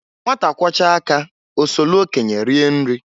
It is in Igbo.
Nwata kwọchaa aka osolu okenye rienri.